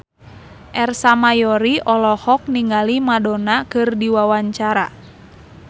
Ersa Mayori olohok ningali Madonna keur diwawancara